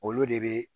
Olu de be